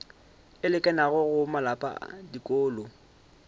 e lekanego go malapa dikolo